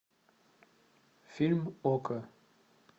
фильм окко